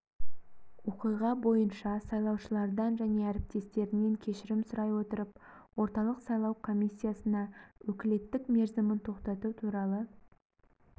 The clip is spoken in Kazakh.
оқиға бойынша сайлаушылардан және әріптестерінен кешірім сұрай отырып орталық сайлау комиссиясына өкілеттік мерзімін тоқтату туралы